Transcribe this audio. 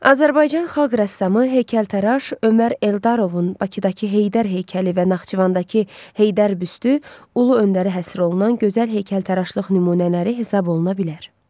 Azərbaycan xalq rəssamı heykəltəraş Ömər Eldarovun Bakıdakı Heydər heykəli və Naxçıvandakı Heydər büstü Ulu Öndərə həsr olunan gözəl heykəltəraşlıq nümunələri hesab oluna bilər.